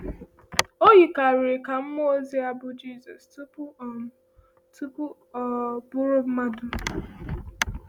O yikarịrị um ka mmụọ ozi a bụ Jesus um tupu um tupu ọ um bụrụ mmadụ.